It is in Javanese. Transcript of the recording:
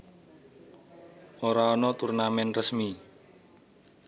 Ora ana turnamen resmi